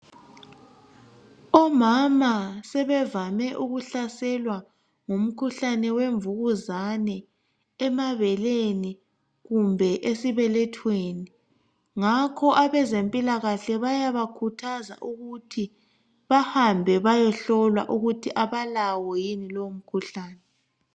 Omama sebevame ukuhlaselwa ngumkhuhlale wemvukuzane emabeleni kumbe esibelethweni. Ngakho abezempilakahle bayabakhuthaza ukuthi bahambe bayehlolwa ukuthi abalawo yini lowo mkhuhlane.